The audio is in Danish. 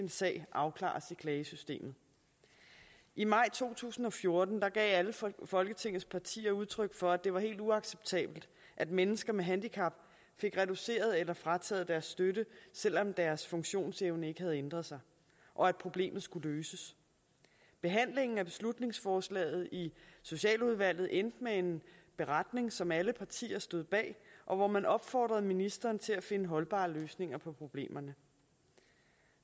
sag afklares i klagesystemet i maj to tusind og fjorten gav alle folketingets partier udtryk for at det var helt uacceptabelt at mennesker med handicap fik reduceret eller frataget deres støtte selv om deres funktionsevne ikke havde ændret sig og at problemet skulle løses behandlingen af beslutningsforslaget i socialudvalget endte med en beretning som alle partier stod bag og hvor man opfordrede ministeren til at finde holdbare løsninger på problemerne